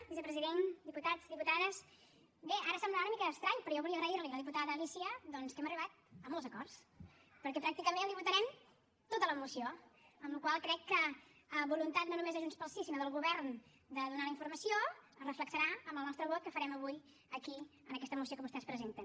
vicepresident diputats diputades bé ara semblarà una mica estrany però jo volia agrair li a la diputada alícia doncs que hem arribat a molts acords perquè pràcticament li votarem tota la moció amb la qual cosa crec que la voluntat no només de junts pel sí sinó del govern de donar la informació es reflectirà en el nostre vot que farem avui aquí en aquesta moció que vostès presenten